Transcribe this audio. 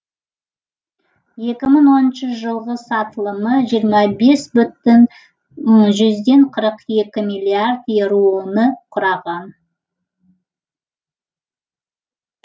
екі мың оныншы жылғы сатылымы жиырма бес бүтін жүзден қырық екі миллиард еуроны құраған